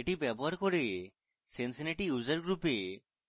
এটি ব্যবহার করে cincinnati user group we